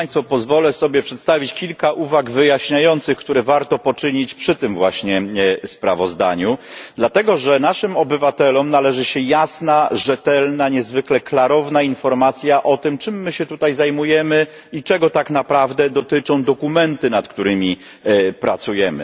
Pozwolę sobie przedstawić kilka uwag wyjaśniających, które warto poczynić przy tym właśnie sprawozdaniu, dlatego że naszym obywatelom należy się jasna, rzetelna, niezwykle klarowna informacja o tym, czym my się tutaj zajmujemy i czego tak naprawdę dotyczą dokumenty, nad którymi pracujemy.